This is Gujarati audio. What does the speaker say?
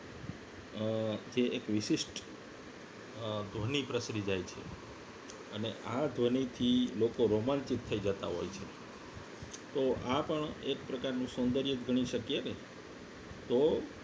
અ તે એક અ વિશિષ્ટ ધ્વનિ પ્રસરી જાય છે અને આ ધ્વનિથી લોકો romantic થઈ જતા હોય છે તો આ પણ એક પ્રકારનું સૌંદર્ય ગણી શકીએ ને તો